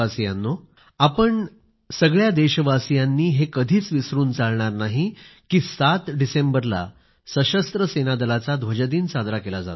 माझ्या प्रिय देशवासीयांनो आपण सगळ्या देशवासियांनी हे कधीच विसरून चालणार नाही कि सात डिसेंबरला सशस्त्र सेनादलाचा ध्वजदिन साजरा केला जातो